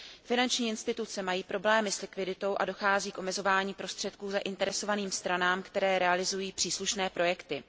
Finanční instituce mají problémy s likviditou a dochází k omezování prostředků zainteresovaným stranám, které realizují příslušné projekty.